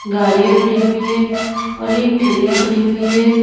गाड़ियां खड़ी हुई है और एक ठेलिया खड़ी हुई है।